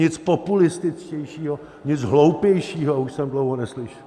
Nic populističtějšího, nic hloupějšího už jsem dlouho neslyšel.